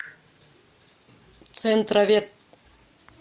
центровет